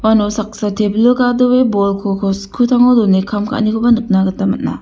iano saksa tebilo gadoe bolko uko skutango done kam ka·anikoba nikna gita man·a.